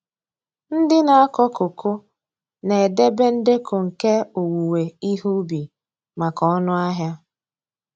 Ndị na-akọ koko na-edebe ndekọ nke owuwe ihe ubi maka ọnụahịa.